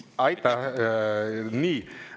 Aitäh!